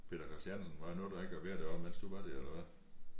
Peter Christiansen var nåede da ikke at være deroppe mens du var der eller hvad?